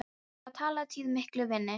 Hann var alla tíð mikill vinur minn.